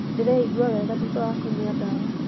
Ndĩreigua wega thutha wa kũnyua dawa